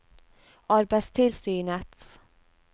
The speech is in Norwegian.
arbeidstilsynets